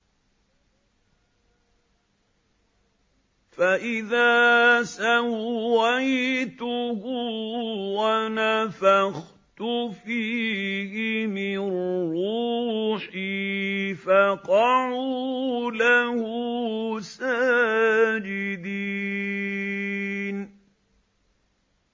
فَإِذَا سَوَّيْتُهُ وَنَفَخْتُ فِيهِ مِن رُّوحِي فَقَعُوا لَهُ سَاجِدِينَ